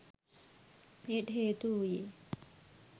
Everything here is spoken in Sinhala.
එයට හේතු වූයේ